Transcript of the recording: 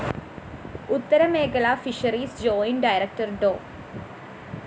ഉത്തരമേഖല fisheries joint director Dr